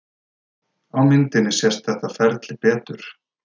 Á myndinni sést þetta ferli betur.